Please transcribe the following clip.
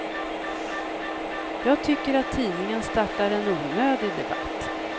Jag tycker att tidningen startar en onödig debatt.